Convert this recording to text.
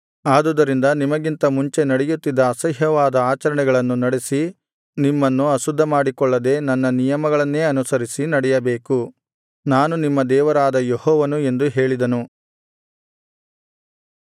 ಆದುದರಿಂದ ನಿಮಗಿಂತ ಮುಂಚೆ ನಡೆಯುತ್ತಿದ್ದ ಅಸಹ್ಯವಾದ ಆಚರಣೆಗಳನ್ನು ನಡೆಸಿ ನಿಮ್ಮನ್ನು ಅಶುದ್ಧಮಾಡಿಕೊಳ್ಳದೆ ನನ್ನ ನಿಯಮಗಳನ್ನೇ ಅನುಸರಿಸಿ ನಡೆಯಬೇಕು ನಾನು ನಿಮ್ಮ ದೇವರಾದ ಯೆಹೋವನು ಎಂದು ಹೇಳಿದನು